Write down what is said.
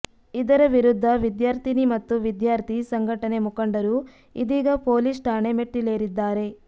ಇದರ ವಿರುದ್ಧ ವಿದ್ಯಾರ್ಥಿನಿ ಮತ್ತು ವಿದ್ಯಾರ್ಥಿ ಸಂಘಟನೆ ಮುಖಂಡರು ಇದೀಗ ಪೊಲೀಸ್ ಠಾಣೆ ಮೆಟ್ಟಿಲೇರಿದ್ದಾರೆ